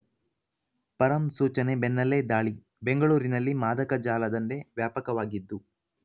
ಪರಂ ಸೂಚನೆ ಬೆನ್ನಲ್ಲೇ ದಾಳಿ ಬೆಂಗಳೂರಿನಲ್ಲಿ ಮಾದಕ ಜಾಲ ದಂಧೆ ವ್ಯಾಪಕವಾಗಿದ್ದು